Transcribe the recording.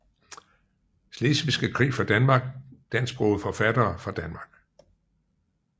Slesvigske Krig fra Danmark Dansksprogede forfattere fra Danmark